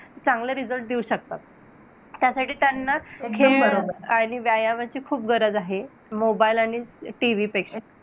चांगले result देऊ शकतात. त्यासाठी त्यांना खेळ आणि व्यायामाची खूप गरज आहे. mobile आणि TV पेक्षा.